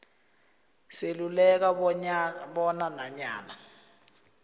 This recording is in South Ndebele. seluleka bona nanyana